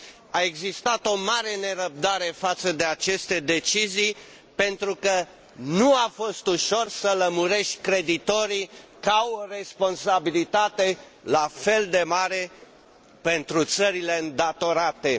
A existat o mare nerăbdare față de aceste decizii pentru că nu a fost ușor să lămurești creditorii că au o responsabilitate la fel de mare pentru țările îndatorate.